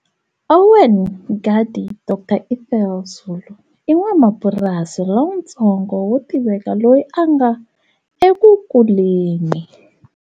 Owen Mngadi Dr Ethel Zulu i n'wamapurasi lotsongo wo tiveka loyi a nga ekukuleni.